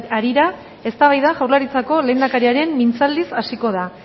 harira eztabaida jaurlaritzako lehendakariaren mintzaldiz hasiko da